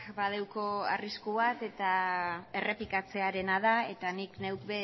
badauka arrisku bat eta errepikatzearena da eta nik neuk